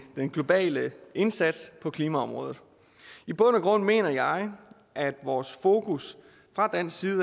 den globale indsats på klimaområdet i bund og grund mener jeg at vores fokus fra dansk side